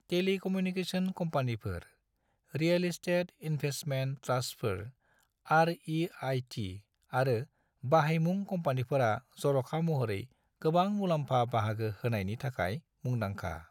Telecommunication कम्पानिफोर, real estate investment ट्रास्टफोर (REIT), आरो बाहायमुं कम्पानिफोरा जर'खा महरै गोबां मुलाम्फा बाहागो होनायनि थाखाय मुंदांखा।